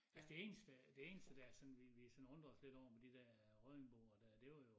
Altså det eneste det eneste som der som vi vi sådan undrede os lidt over med de dér Røddingboer det var jo